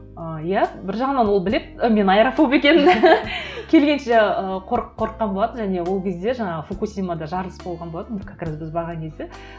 ы иә бір жағынан ол біледі ы мен аэрофоб екенімді келгенше ыыы қорыққан болатын және ол кезде жаңағы фукусимада жарылыс болған болатын бір как раз біз барған кезде